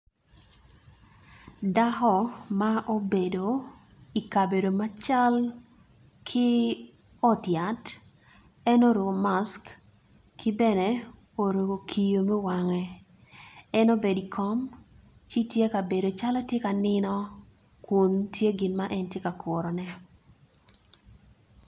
Dako ma obedo ikabedo macal ki ot yat en oruko mask kibeno oruko kiyo me wange kibene en obedo ikom ci tye ka bedo calo tyeka nino kun tye gin ma en tye ka kurone.